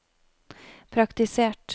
praktisert